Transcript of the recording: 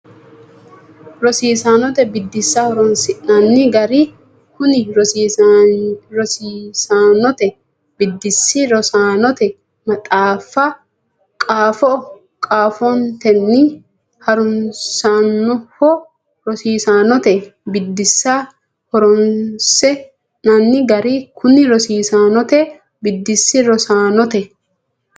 Rosiisaanote Biddissa Horonsi nanni Gara Kuni rosiisaanote biddissi rosaanote maxaafa qaafo qaafontenni ha runsannoho Rosiisaanote Biddissa Horonsi nanni Gara Kuni rosiisaanote biddissi rosaanote.